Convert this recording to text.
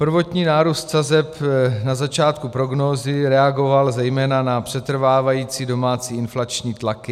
Prvotní nárůst sazeb na začátku prognózy reagoval zejména na přetrvávající domácí inflační tlaky.